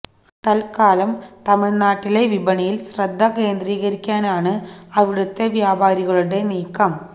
തല്ക്കാലം തമിഴ്നാട്ടിലെ വിപണിയിൽ ശ്രദ്ധ കേന്ദ്രീകരിക്കാനാണ് അവിടുത്തെ വ്യാപാരികളുടെ നീക്കം